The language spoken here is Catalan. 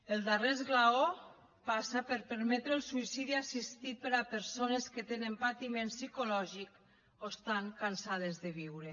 el darrer esglaó passa per permetre el suïcidi assistit per a persones que tenen patiment psicològic o estan cansades de viure